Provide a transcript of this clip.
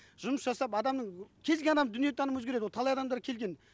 жұмыс жасап адамның кез келген адамның дүние танымы өзгереді ол талай адамдар келген